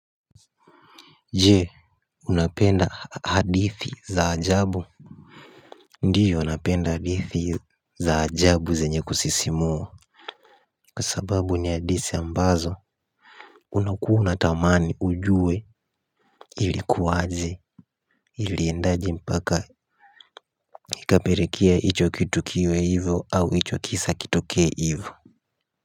Je unapenda hadithi za ajabu. Ndiyo napenda hadithi za ajabu zenye kusisimua. Kwa sababu ni hadithi ambazo unakuwa unatamani ujue ilikuwaje. Iliendaje mpaka ikapelekea hicho kitu kiwe hivyo au hicho kisa kitokee hivyo.